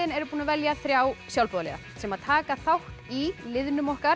stuðningsliðin eru búin að velja þrjá sjálfboðaliða sem taka þátt í liðnum okkar